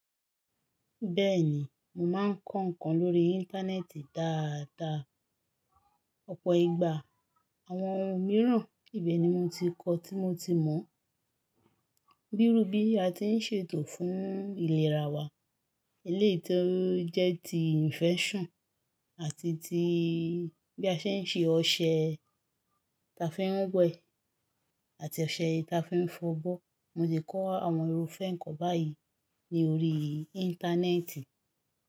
Bẹ́ẹ̀ni, mò máa ń kọ ǹkan lórí Íńtánẹ́ẹ̀tì dáadáa, ọ̀pọ̀ ìgbà àwọn ohun mìíràn ibẹ̀ ni mo ti kọ́ tí mo ti mọ̀. Bírú bí a ti ń ṣètò fún ìlera wa, eleyii tó jẹ́ ti "infection" àti tí bí a ṣe ń ṣe ọṣẹ ta fi ń wẹ àti ọṣẹ ta fi ń fọ'bo. Mo ti kọ́ àwọn irúfẹ́ ǹkan báyìí ni ori Íńtánẹ́ẹ̀tì.